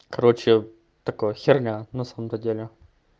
короче такое херня на самом-то деле